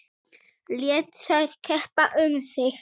Lét þær keppa um sig.